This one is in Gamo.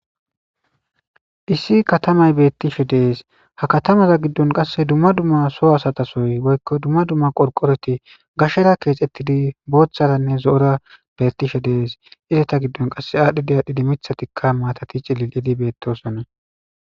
issi katamay beettishe dees ha katamaza giddon qasse dumma dumma soo asatasoy woykko dumma dumma qorqoreti gashera keexettidi booththaranne zo'ora bettishe dees ireta giddon qasse aadhdhidiyaadhidi mithatikka maatati cililidi beettosonne